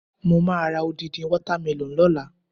Mo máa ra odindi water melon lọ́la.